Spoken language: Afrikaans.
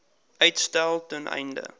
uitstel ten einde